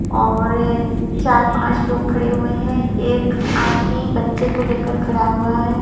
और एक चार पांच लोग खड़े हुए हैं एक आदमी बच्चे को लेकर खड़ा हुआ है।